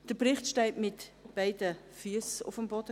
Der Bericht steht quasi mit beiden Füssen auf dem Boden: